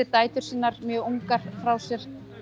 dætur sínar mjög ungar frá sér